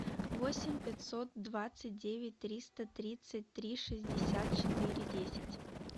восемь пятьсот двадцать девять триста тридцать три шестьдесят четыре десять